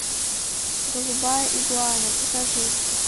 голубая игуана покажи